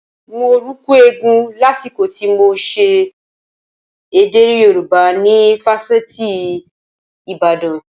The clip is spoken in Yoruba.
Mo rùkú eégún lásìkò tí mo ṣe èdè Yorùbá ni fásitì Ìbàdàn